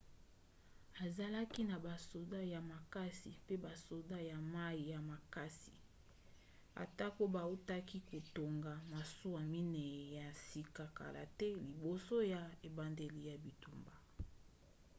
azalaki na basoda ya makasi pe basoda ya mai ya makasi atako bautaki kotonga masuwa minei ya sika kala te liboso ya ebandeli ya bitumba